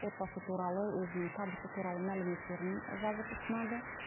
отбасы туралы өзінің табысы туралы мәліметтерін жазып ұсынады